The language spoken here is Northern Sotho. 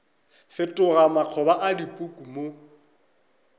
fetoga makgoba a dipuku mo